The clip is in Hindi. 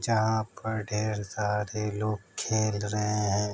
जहाँ पर ढ़ेर सारे लोग खेल रहे हैं।